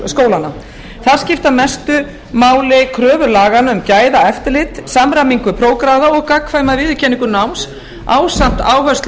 skólanna þar skipta mestu máli kröfur laganna um gæðaeftirlit samræmingu prófgráða og gagnkvæma viðurkenningu náms ásamt áherslu á